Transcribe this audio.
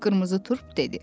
Qırmızı Turp dedi.